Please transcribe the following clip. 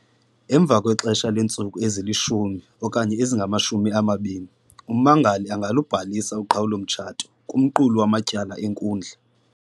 Emva kwexesha leentsuku ezi-10 okanye ezingama-20, ummangali angalubhalisa uqhawulo-mtshato kumqulu wamatyala enkundla.